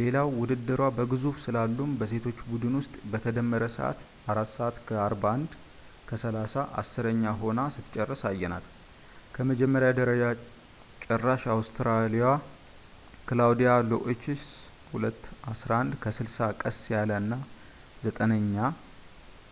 ሌላው ውድድሯ በግዙፉ ስላሉም በሴቶች ቡድን ውስጥ በተደመረ ሰዓት 4:41.30 ዐሥረኛ ሆና ስትጨርስ አየናት፣ ከመጀመሪያ ደረጃ ጨራሽ ኦስትሪያዊዋ ክላውዲያ ሎአስችህ 2:11.60 ቀስ ያለ እና ዘጠነኛ